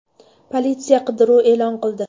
Politsiya qidiruv e’lon qildi.